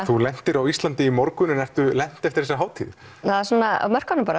þú lentir á Íslandi í morgun en ertu lent eftir þessa hátíð það er svona á mörkunum bara